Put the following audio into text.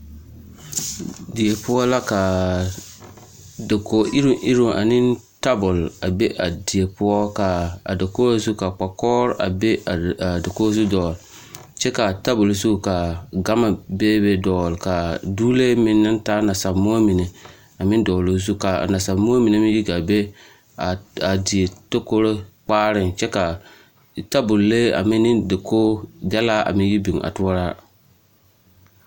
Die poɔ la ka dakogi iruŋ iruŋ ane tabol a be a die poɔ ka a dakogi zu ka kpa-kɔgere a be a dakogi zu dɔgele kyɛ k'a tabol zu ka gama beebe dɔgele ka dogelee meŋ naŋ taa nasa-moɔ mine a meŋ dɔgele o zu k'a nasa-moɔ mine meŋ yi gaa be a die tokoroo kpaareŋ kyɛ ka tabol-lee a meŋ ne dakogi dɛlaa a meŋ yi biŋ a toɔraa.